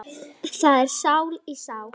Það er stál í stál